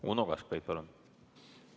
Uno Kaskpeit, palun!